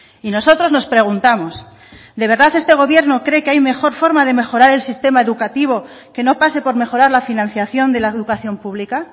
y nosotros nos preguntamos de verdad este gobierno cree que hay mejor forma de mejorar el sistema educativo que no pase por mejorar la financiación de la educación pública